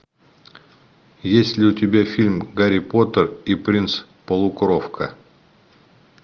есть ли у тебя фильм гарри поттер и принц полукровка